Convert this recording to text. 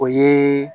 O ye